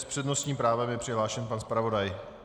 S přednostním právem je přihlášen pan zpravodaj.